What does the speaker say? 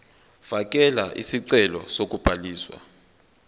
fakela isicelo sokubhaliswa